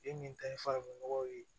Den min ta ye farafinnɔgɔ ye